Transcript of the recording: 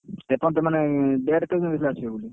ଏପର୍ଯ୍ୟନ୍ତ ମାନେ date କେବେ ଦେଇଥିଲା ଆସିବ ବୋଲି?